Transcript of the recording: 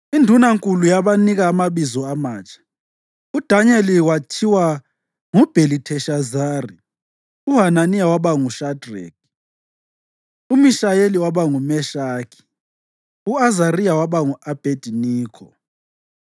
Indunankulu yabanika amabizo amatsha: uDanyeli kwathiwa nguBhelitheshazari; uHananiya waba nguShadreki, uMishayeli waba nguMeshaki; u-Azariya waba ngu-Abhediniko.